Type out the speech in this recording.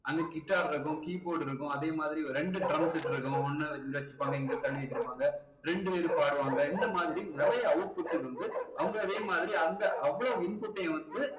அங்க guitar இருக்கும் keyboard இருக்கும் அதே மாதிரி ரெண்டு drumset இருக்கும் ஒண்ணு இங்க வச்சுருப்பாங்க இங்க தள்ளி வச்சுருப்பாங்க ரெண்டு பேரு பாடுவாங்க இந்த மாதிரி நிறைய output க்கு வந்து அவங்க அதே மாதிரி அந்த அவ்ளோ input டையும் வந்து